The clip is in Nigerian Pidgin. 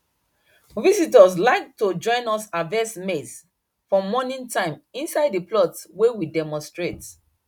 visitors like to join us harvest maize for morning time inside the plot wey we demonstrate